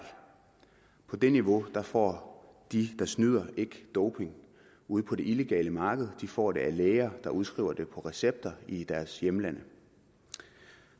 på det niveau får de der snyder ikke doping ude på det illegale marked de får det af læger der udskriver det på recepter i deres hjemlande